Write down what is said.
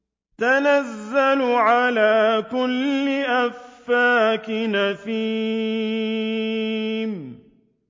تَنَزَّلُ عَلَىٰ كُلِّ أَفَّاكٍ أَثِيمٍ